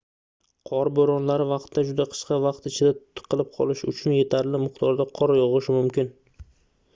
qor boʻronlari vaqtida juda qisqa vaqt ichida tiqilib qolish uchun yetarli miqdorda qor yogʻishi mumkin